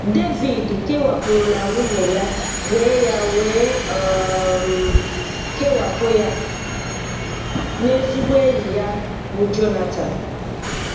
Devid kewapụrụ na nwunye ya wee ya wee um kewapụ ya na ezigbo enyi ya, bụ́ Jonatan.